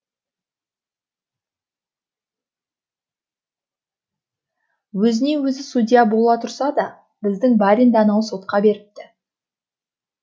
өзіне өзі судья бола тұрса да біздің баринді анау сотқа беріпті